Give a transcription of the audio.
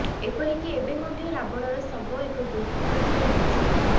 ଏପରିକି ଏବେ ମଧ୍ୟ ରାବଣର ଶବ ଏକ ଗୁମ୍ଫା ମଧ୍ୟରେ ରହିଛି